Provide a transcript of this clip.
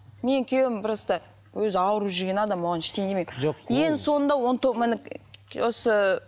менің күйеуім просто өзі ауырып жүрген адам оған ештеңе демеймін ең соңында он міне осы